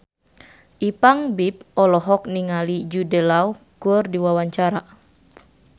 Ipank BIP olohok ningali Jude Law keur diwawancara